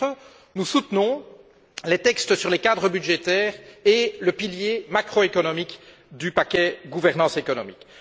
À ce titre, nous soutenons les textes sur les cadres budgétaires et le pilier macroéconomique du paquet gouvernance économique.